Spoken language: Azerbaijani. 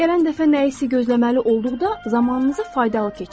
Gələn dəfə nəyisə gözləməli olduqda zamanınızı faydalı keçirin.